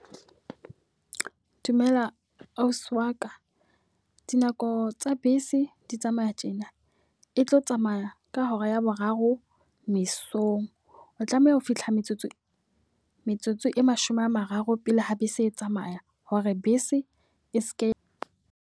Dumela ausi wa ka, dinako tsa bese di tsamaya tjena. E tlo tsamaya ka hora ya boraro mesong. O tlameha ho fihla metsotso, metsotso e mashome a mararo pele ha bese E tsamaya. Hore bese e seke.